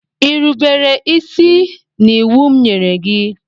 I rubere isi n'iwu m nyere gị?